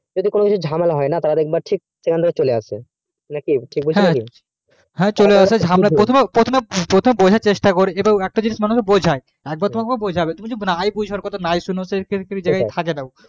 যদি কোনোদিন ঝামেলা হয় না তাহলে ঠিক একদম চলে আসবে প্রথমে বোঝার চেষ্টা করে একটা জিনিস যেমন বোঝাই তাহলে বোঝাবে একবার যদি তুমি না বোঝার চেষ্টা করো তুমি কথা টা যদি না শুনো